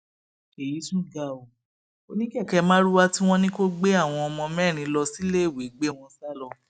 èyí tún ga ọ oníkèké marwa tí wọn ní kó gbé àwọn ọmọ mẹrin lọ síléèwé gbé wọn sá lọ